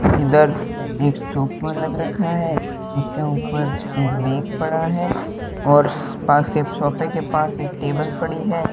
इधर एक सोफा लग रखा हैं उसके ऊपर एक बैग पड़ा हैं और स पास के सोफे के पास एक टेबल पड़ी हैं।